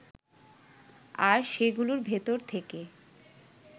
আর সেগুলোর ভেতর থেকে